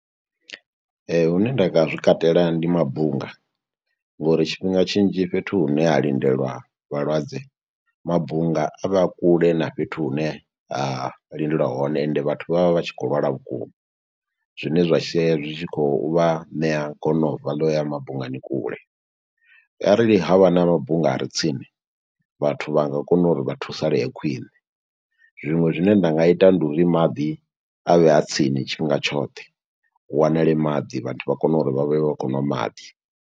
Hune nda nga zwi katela ndi mabunga, ngo uri tshifhinga tshinzhi fhethu hune ha lindelwa vhalwadze, mabunga a vha a kule na fhethu hune ha lindelwa hone, ende vhathu vha vha vha tshi khou lwala vhukuma, zwine zwa sheya zwi tshi khou vha ṋea gonobva ḽo u ya mabungani kule. Arali ha vha na mabunga are tsini, vhathu vha nga kona uri vha thusalee khwiṋe. Zwiṅwe zwine nda nga ita, ndi uri maḓi a vhe a tsini tshifhinga tshoṱhe. Hu wanale maḓi, vhathu vha kone uri vha vhe vha khou ṅwa maḓi.